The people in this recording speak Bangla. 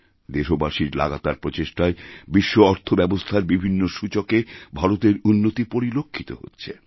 দেশবাসীর লাগাতার প্রচেষ্টায় বিশ্ব অর্থ ব্যবস্থারবিভিন্ন সূচকে ভারতের উন্নতি পরিলক্ষিত হচ্ছে